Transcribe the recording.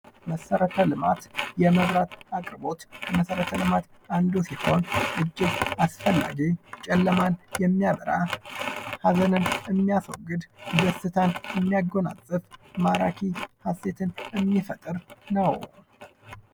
መሰረተ ልማት የመብራት ተጠቃሚ ከመሰረተ ልማት አንዱ ሲሆን እጅግ አስደናቂ ጨለማን የሚያበራ፣ ሃዘንን የሚያስወግድ፣ ደስታን የሚያጎናጽፍ፣ ማራኪ ሀሴትን የሚፈጥር ነው።